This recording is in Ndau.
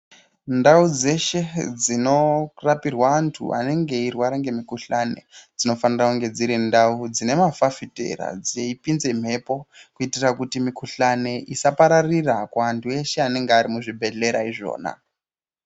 Ndaudzeshe dzinorapirwa antu anenge eirapirwa antu anenge eirwara ngemu guhlani dzinofanire kunge dziri ndau dzinemafafitera dzeipinze mhepo kuitira kuti miguhlane isa pararira kuvantu vese vanenge vari muzvibhehlera izvona